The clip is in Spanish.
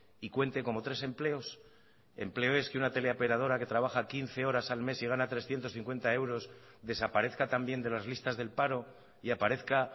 y cuente como tres empleos empleo es que una teleoperadora que trabaja quince horas al mes y gana trescientos cincuenta euros desaparezca también de las listas del paro y aparezca